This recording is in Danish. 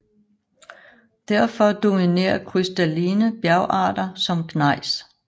Derfor dominerer krystalline bjergarter som gnejs